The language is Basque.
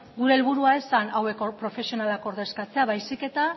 gure helburua ez zen hauek profesionalak ordezkatzea baizik eta